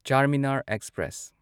Charminar express